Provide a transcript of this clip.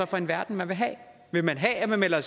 for en verden man vil have vil man have at vi melder